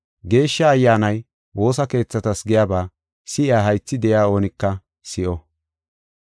Geeshsha Ayyaanay woosa keethatas giyaba si7iya haythi de7iya oonika si7o.